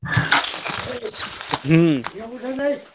ହୁଁ।